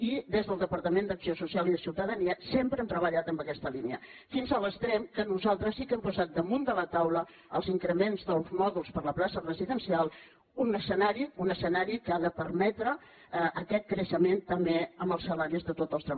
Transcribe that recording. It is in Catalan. i des del departament d’acció social i ciutadania sempre hem treballat en aquesta línia fins a l’extrem que nosaltres sí que hem posat damunt de la taula els increments dels mòduls per a la plaça residencial un escenari que ha permetre aquest creixement també en els salaris de tots els tre·balladors